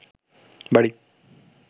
বাড়ি